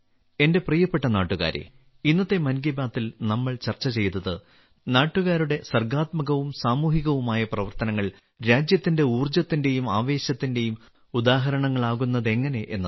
എന്റെ പ്രിയപ്പെട്ട നാട്ടുകാരേ ഇന്നത്തെ മൻ കി ബാത്തിൽ നമ്മൾ ചർച്ച ചെയ്തത് നാട്ടുകാരുടെ സർഗ്ഗാത്മകവും സാമൂഹികവുമായ പ്രവർത്തനങ്ങൾ രാജ്യത്തിന്റെ ഊർജ്ജത്തിന്റെയും ആവേശത്തിന്റെയും ഉദാഹരണങ്ങളാകുന്നതെങ്ങനെ എന്നതാണ്